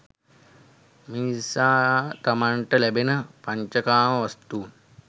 මිනිසා තමන්ට ලැබෙන පංචකාම වස්තුන්